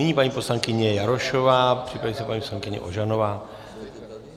Nyní paní poslankyně Jarošová, připraví se paní poslankyně Ožanová.